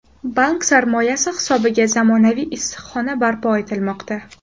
Bank sarmoyasi hisobiga zamonaviy issiqxona barpo etilmoqda.